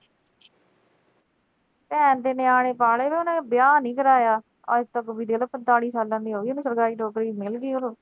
ਭੈਣ ਦੇ ਨਿਆਣੇ ਪਾਲੇ ਨੇ ਉਹਨੇ ਵਿਆਹ ਨੀਂ ਕਰਾਇਆ, ਅੱਜਤੱਕ ਵੀ ਦੇਖਲਾ ਪੰਤਾਲੀ ਸਾਲਾਂ ਦੀ ਹੋਗੀ